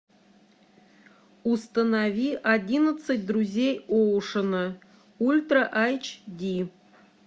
установи одиннадцать друзей оушена ультра эйч ди